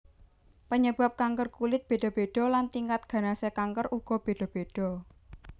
Panyebab kanker kulit béda béda lan tingkat ganasé kanker uga béda béda